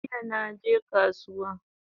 Jiya naje kasuwa